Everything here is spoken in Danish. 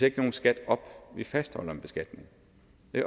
ikke nogen skat op vi fastholder en beskatning